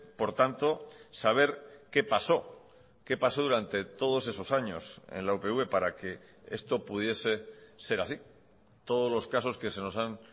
por tanto saber qué pasó qué pasó durante todos esos años en la upv para que esto pudiese ser así todos los casos que se nos han